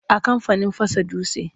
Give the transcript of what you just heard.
A kamfanin fasa dutse.